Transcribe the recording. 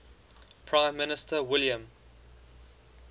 prime minister william